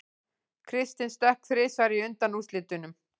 Kristinn stökk þrisvar í undanúrslitunum